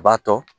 A b'a tɔ